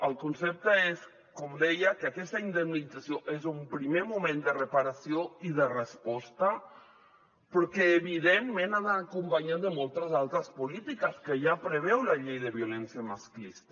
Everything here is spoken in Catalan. el concepte és com deia que aquesta indemnització és un primer moment de reparació i de resposta però que evidentment ha d’anar acompanyat de moltes altres polítiques que ja preveu la llei de violència masclista